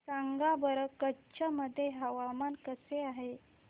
सांगा बरं कच्छ मध्ये हवामान कसे आहे